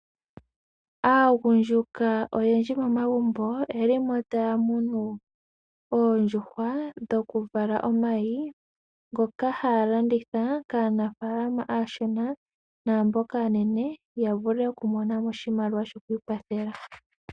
Aagundjuka oyendji momagumbo, oyeli mo taya munu oondjuhwa, dho kuvala omayi ngoka haya landitha kaa nafalama aashona naamboka aanene ya vule oku mona mo oshimaliwa sho ku ikwathela.